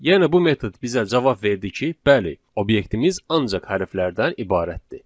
Yəni bu metod bizə cavab verdi ki, bəli, obyektimiz ancaq hərflərdən ibarətdir.